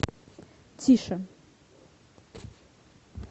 тише